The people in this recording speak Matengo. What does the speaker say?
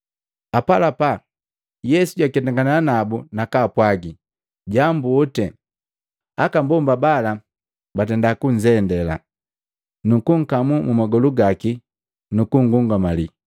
Apalapa, Yesu jwaketangana nabu nakwaapwagi, “Jambu oti.” Aka mbomba bala bunzendila, nukukamu magolu gaki nukungungamali.